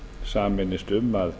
sameinist um að